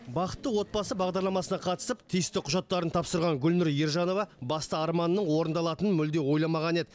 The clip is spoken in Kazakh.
бақытты отбасы бағдарламасына қатысып тиісті құжаттарын тапсырған гүлнұр ержанова басты арманының орындалатынын мүлде ойламаған еді